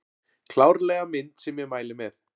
Klárlega mynd sem ég mæli með